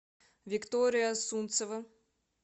виктория сунцева